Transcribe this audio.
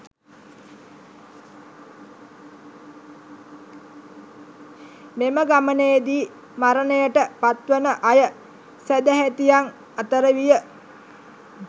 මෙම ගමනේදී මරණයට පත්වන අය සැදැහැතියන් අතර විය.